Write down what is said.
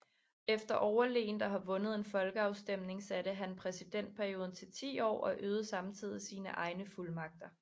Efter overlegent at have vundet en folkeafstemning satte han præsidentperioden til ti år og øgede samtidig sine egne fuldmagter